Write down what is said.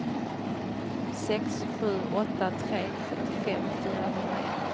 sex sju åtta tre sjuttiofem fyrahundraett